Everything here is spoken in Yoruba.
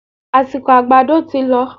Àsìkò àgbàdo tí lọ